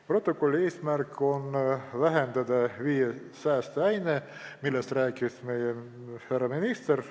Protokolli eesmärk on vähendada viie saasteaine heiteid, millest rääkis härra minister.